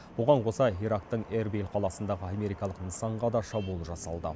оған қоса ирактың эрбиль қаласындағы америкалық нысанға да шабуыл жасалды